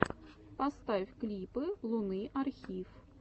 поставь клипы луны архив